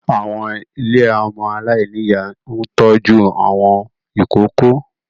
Àwọn ilé ọmọ aláìní ìyá ń tọ́jú àwọn ìkóókó